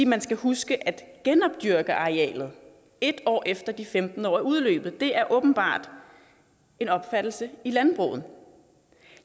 man skal huske at genopdyrke arealet en år efter de femten år er udløbet det er åbenbart en opfattelse i landbruget